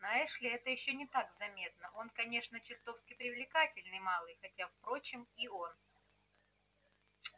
на эшли это ещё не так заметно он конечно чертовски привлекательный малый хотя впрочем и он